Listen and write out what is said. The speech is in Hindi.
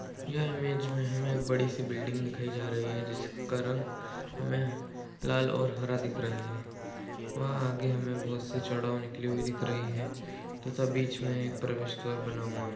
यह इमेज में हमें बड़ी सी बिल्डिंग दिखाई जा रही है जिसका रंग हमे लाल और हरा दिख रहा है। वहाँ आगे हमें बहुत सी चौड़ाव निकली हुई दिख रही है तथा बीच में प्रवेश द्वार बना हुआ है।